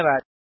धन्यवाद